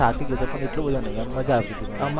થાકી ગયો હતો પણ એટલો બધો નહી આમ મજા આવતી હતી પણ